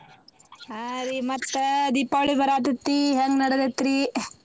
ಹಾ ರೀ ಮತ್ತ್ ದೀಪಾವಳಿ ಬರಾತ್ತೆತ್ತಿ ಹೆಂಗ್ ನಡ್ದೈತ್ರಿ ?